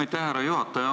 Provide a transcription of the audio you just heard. Aitäh, härra juhataja!